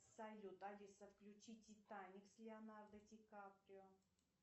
салют алиса включи титаник с леонардо ди каприо